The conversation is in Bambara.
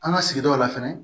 An ka sigidaw la fɛnɛ